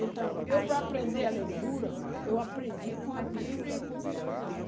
Então, eu para aprender a leitura, eu aprendi com a Bíblia e com o dicionário.